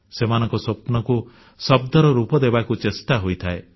ସେମାନଙ୍କ ସ୍ୱପ୍ନକୁ ଶବ୍ଦର ରୂପ ଦେବାକୁ ଚେଷ୍ଟା ହୋଇଥାଏ